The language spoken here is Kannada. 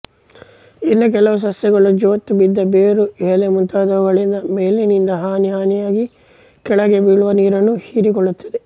ಇನ್ನು ಕೆಲವು ಸಸ್ಯಗಳು ಜೋತುಬಿದ್ದ ಬೇರು ಎಲೆ ಮುಂತಾದುವುಗಳಿಂದ ಮೇಲಿನಿಂದ ಹನಿ ಹನಿಯಾಗಿ ಕೆಳಕ್ಕೆ ಬೀಳುವ ನೀರನ್ನು ಹೀರಿಕೊಳ್ಳುತ್ತವೆ